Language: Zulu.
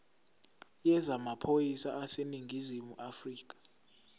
yezamaphoyisa aseningizimu afrika